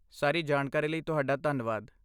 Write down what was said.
ਸਾਰੀ ਜਾਣਕਾਰੀ ਲਈ ਤੁਹਾਡਾ ਧੰਨਵਾਦ।